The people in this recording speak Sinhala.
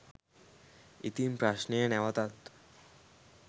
ඉතින් ප්‍රශ්නය නැවතත්